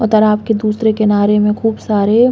उधर आपके दूसरे किनारे में खूब सारे --